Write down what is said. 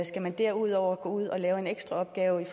skal man derudover gå ud og lave en ekstra opgave